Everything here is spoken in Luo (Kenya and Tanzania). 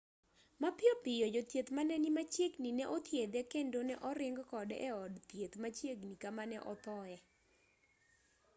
mapiyo piyo jothieth mane ni machiegni ne othiedhe kendo ne oring kode e od thieth machiegni kama ne othoe